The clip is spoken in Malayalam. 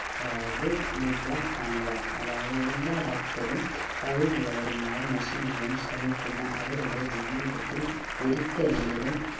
അതായത് ഖിബ്‌ല കാണുക അതായത് എല്ലാ ഭക്തരും കഴിവുള്ളവരുമായ മുസ്ലിംകളും ശ്രമിക്കുന്ന അവരുടെ ജീവിതത്തിൽ ഒരിക്കലെങ്കിലും